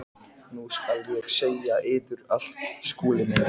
Nú skal ég segja yður allt, Skúli minn.